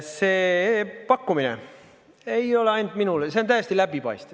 See pakkumine ei ole ainult minule, see on täiesti läbipaistev.